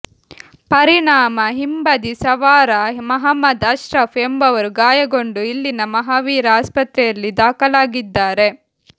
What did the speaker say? ಪರಿಣಾಮ ಹಿಂಬದಿ ಸವಾರ ಮಹಮ್ಮದ್ ಅಶ್ರಫ್ ಎಂಬವರು ಗಾಯಗೊಂಡು ಇಲ್ಲಿನ ಮಹಾವೀರ ಆಸ್ಪತ್ರೆಯಲ್ಲಿ ದಾಖಲಾಗಿದ್ದಾರೆ